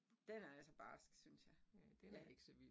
Den er altså barsk synes jeg, ja